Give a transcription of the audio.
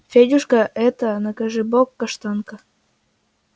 федюшка это накажи бог каштанка